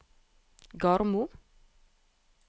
Garmo